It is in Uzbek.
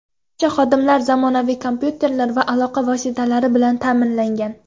Barcha xodimlar zamonaviy kompyuter va aloqa vositalari bilan ta’minlangan.